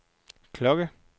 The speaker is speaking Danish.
klokke